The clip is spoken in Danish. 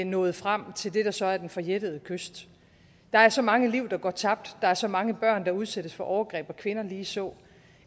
nået frem til det der så er den forjættede kyst der er så mange liv der går tabt og der er så mange børn der udsættes for overgreb og kvinder ligeså